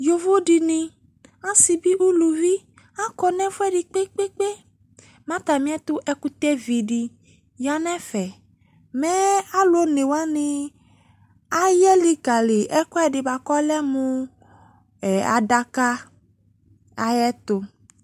Yovo de nem ase be uluvi Akɔ no ɛfuɛde kpekpekpe Ma atame ɛto ɛkutɛvi de ya nɛfɛ Mɛ alu one wane aya likale ɛkuɛde boako ɔlɛ mo adaka ayeto